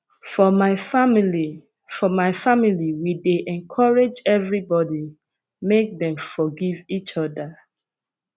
for my family for my family we dey encourage everybody make dem forgive eachoda